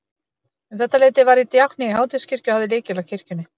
Um þetta leyti varð ég djákni í Háteigskirkju og hafði lykil að kirkjunni.